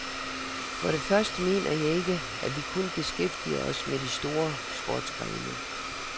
For det første mener jeg ikke, at vi kun beskæftiger os med de store sportsgrene.